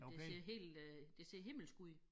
Det ser helt øh det ser himmelsk ud